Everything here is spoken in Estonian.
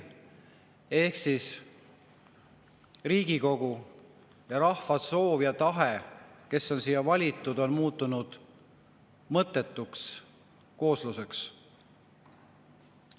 Ehk siis Riigikogu, kes on rahva valitud, on muutunud mõttetuks koosluseks, tema soov ja tahe on.